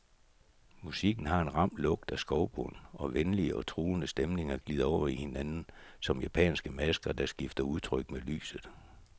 Musikken har en ram lugt af skovbund, og venlige og truende stemninger glider over i hinanden som japanske masker, der skifter udtryk med lyset.